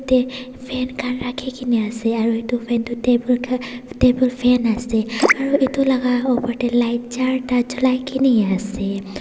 yate fan khara ke kini ase aru etu fan tu table kha table fan ase aru etu laga upar teh light char ta jalai ke ni ase.